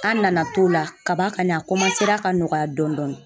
An nana t'o la kaban kani a ka nɔgɔya dɔɔnin dɔɔnin.